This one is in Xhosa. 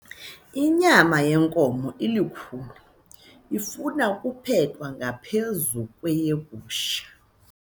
Inyama yenkomo ilukhuni ifuna ukuphekwa ngaphezu kweyegusha.